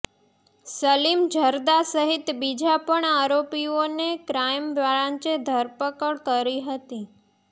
સલીમ જર્દા સહિત બીજા પણ આરોપીઓની ક્રાઇમ બ્રાંચે ધરપકડ કરી હતી